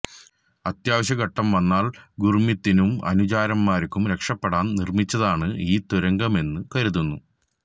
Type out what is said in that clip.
അത്യാവശ്യ ഘട്ടം വന്നാൽ ഗുർമീതിനും അനുചരൻമാർക്കും രക്ഷപ്പെടാൻ നിർമിച്ചതാണ് ഈ തുരങ്കമെന്നു കരുതുന്നു